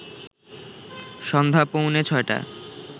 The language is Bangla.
সন্ধ্যা পৌঁনে ৬টায়